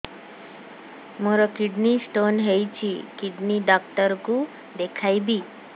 ମୋର kidney stone ହେଇଛି kidney doctor କୁ ଦେଖାଇବି